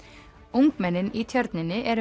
ungmennin í Tjörninni eru